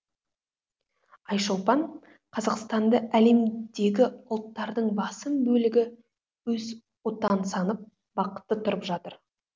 айшолпан қазақстанды әлемдегі ұлттардың басым бөлігі өз отаны санап бақытты тұрып жатыр